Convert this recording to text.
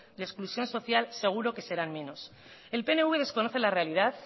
de exclusión social seguro que serán menos el pnv desconoce la realidad